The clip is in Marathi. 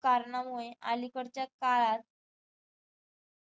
कारणामुळे अलीकडच्या काळात